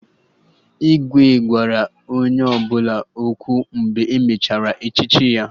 Igwe gwara onye ọbụla okwu mgbe e mechara echichi ya